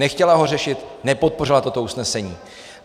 Nechtěla ho řešit, nepodpořila toto usnesení.